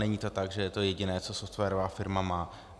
Není to tak, že je to jediné, co softwarová firma má.